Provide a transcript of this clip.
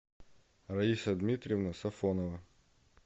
раиса дмитриевна сафонова